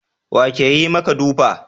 Wa ke yi maka dafu?